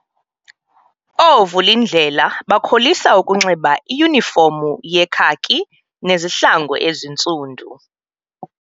Oovulindlela bakholisa ukunxiba iyunifomu yekhaki nezihlangu ezintsundu.